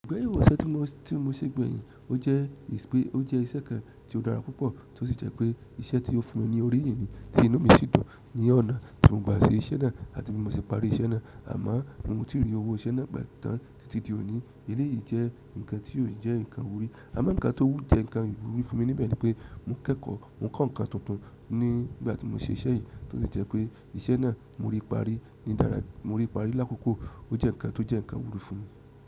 Gbe wó iṣẹ́ tí mo, tí mo ṣe gbẹ̀yìn, ó jẹ́ wípé ó jẹ́ iṣẹ́ kan tí ó dára púpọ̀ tó sì jẹ́ pé iṣẹ́ tí ó fún mi ní orí yín ni tí inú mi sì dùn ní ọ̀nà tí mo gba ṣe iṣẹ́ náà àti bí mo se parí iṣẹ́ náà. Àmo mi ò tí rí owó iṣẹ́ náà gbà tán títí di òní. Èléyìí jẹ́ nǹkan tí ò jẹ́ nǹkan ìwúrí. Àmo nǹkan tó wù jẹ́ nǹkan ìwúrí fún mi níbẹ̀ ni pé mò kẹ́kọ̀ọ́, mò kọ́ nǹkan tuntun nígbà tí mò ń ṣe iṣẹ́ yìí, tó sì jẹ́ pé iṣẹ́ náà mo rí parí ní dára. Mo rí parí lákòókò ó jẹ́ nǹkan tó jẹ́ nǹkan ìwúrí fún mi.